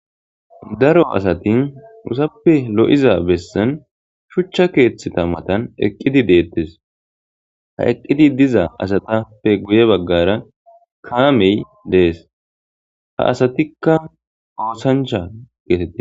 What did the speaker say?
Daro asat usappe lo'iza besan shucha kethaza matan eqid detes, ha eqid diza asatappe guye bagara kaamey Des, ha asatika osancha geteti